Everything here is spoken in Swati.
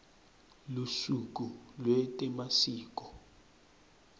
lusuku lwetemasiko